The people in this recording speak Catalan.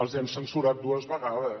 els hem censurat dues vegades